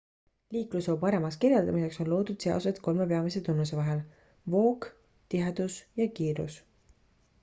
liiklusvoo paremaks kirjeldamiseks on loodud seosed kolme peamise tunnuse vahel: 1 voog 2 tihedus ja 3 kiirus